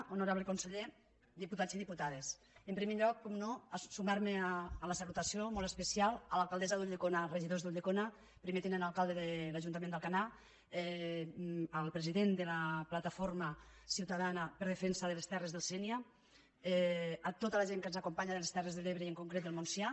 honorable conseller diputats i diputades en primer lloc per descomptat sumar me a la salutació molt especial a l’alcaldessa d’ulldecona i els regidors d’ulldecona al primer tinent d’alcalde de l’ajuntament d’alcanar al president de la plataforma ciutadana en defensa de les terres del sènia a tota la gent que ens acompanya de les terres de l’ebre i en concret del montsià